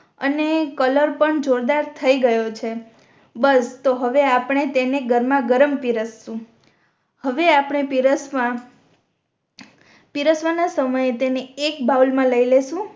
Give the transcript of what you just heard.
અને કલર પણ જોરદાર થઈ ગયો છે બસ તો હવે આપણે તેને ગરમા ગરમ પીરસસુ હવે આપણે પીરસવા પીરસવાના સમય એ તેને એક બાઉલ મા લઈ લેશુ